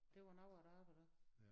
Det var noget af et arbejde